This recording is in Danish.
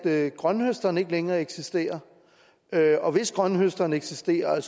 at grønthøsteren ikke længere eksisterer og hvis grønthøsteren eksisterer og